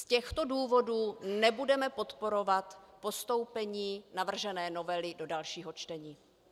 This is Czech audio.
Z těchto důvodů nebudeme podporovat postoupení navržené novely do dalšího čtení.